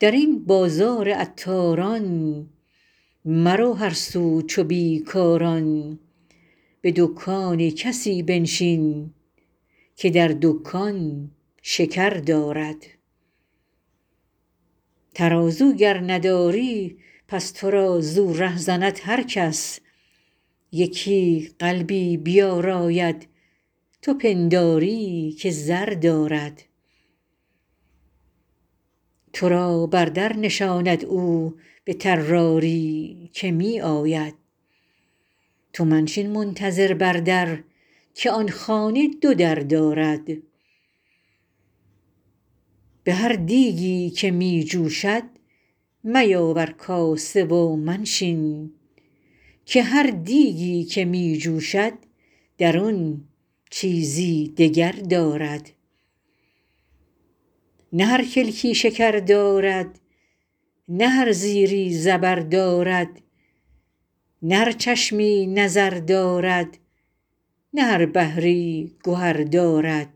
در این بازار عطاران مرو هر سو چو بی کاران به دکان کسی بنشین که در دکان شکر دارد ترازو گر نداری پس تو را زو ره زند هر کس یکی قلبی بیاراید تو پنداری که زر دارد تو را بر در نشاند او به طراری که می آید تو منشین منتظر بر در که آن خانه دو در دارد به هر دیگی که می جوشد میاور کاسه و منشین که هر دیگی که می جوشد درون چیزی دگر دارد نه هر کلکی شکر دارد نه هر زیری زبر دارد نه هر چشمی نظر دارد نه هر بحری گهر دارد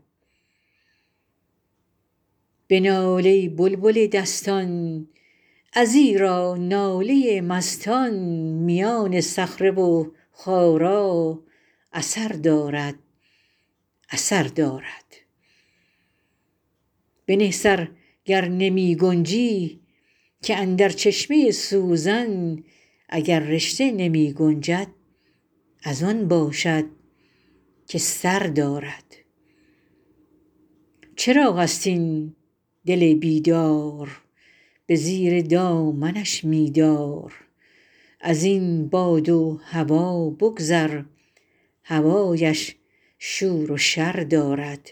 بنال ای بلبل دستان ازیرا ناله مستان میان صخره و خارا اثر دارد اثر دارد بنه سر گر نمی گنجی که اندر چشمه سوزن اگر رشته نمی گنجد از آن باشد که سر دارد چراغ است این دل بیدار به زیر دامنش می دار از این باد و هوا بگذر هوایش شور و شر دارد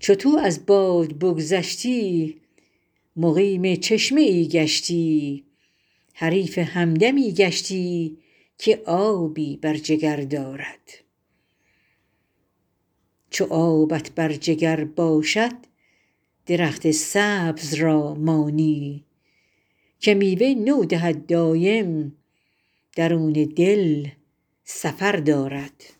چو تو از باد بگذشتی مقیم چشمه ای گشتی حریف همدمی گشتی که آبی بر جگر دارد چو آبت بر جگر باشد درخت سبز را مانی که میوه نو دهد دایم درون دل سفر دارد